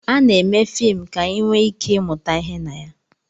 Ana-eme fim ka anyị nwee ike ịmụta ihe na ya